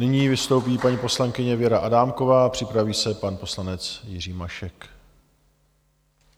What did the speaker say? Nyní vystoupí paní poslankyně Věra Adámková a připraví se pan poslanec Jiří Mašek.